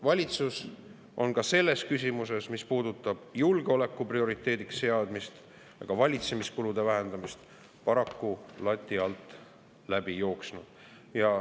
Valitsus on ka selles küsimuses, mis puudutab julgeoleku prioriteediks seadmist ja ka valitsemiskulude vähendamist, paraku lati alt läbi jooksnud.